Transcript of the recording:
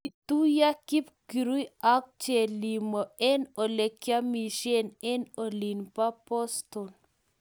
Kituiyo Kipkurui ago Chelimo eng olegiamishen eng olin bo Boston